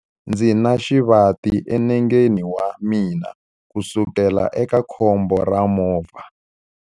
Ndzi na xivati enengeni wa mina kusukela eka khombo ra movha.